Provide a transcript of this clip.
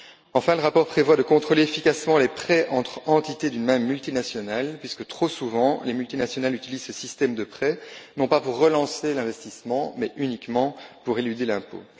Enfin, le rapport prévoit de contrôler efficacement les prêts entre entités d'une même multinationale, puisque trop souvent, les multinationales utilisent ce système de prêts non pas pour relancer l'investissement, mais uniquement pour éluder l'impôt.